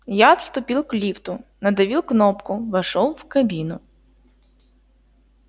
я отступил к лифту надавил кнопку вошёл в кабину